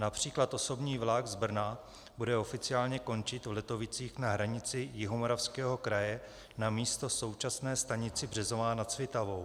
Například osobní vlak z Brna bude oficiálně končit v Letovicích na hranici Jihomoravského kraje namísto v současné stanici Březová nad Svitavou.